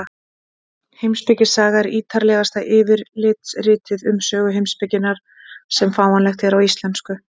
Heimspekisaga er ítarlegasta yfirlitsritið um sögu heimspekinnar sem fáanlegt er á íslensku.